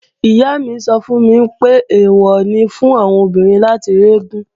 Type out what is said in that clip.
Ìyá mi sọ fún mi pé, èwọ̀ ni fún àwọn obìnrin láti rí eégún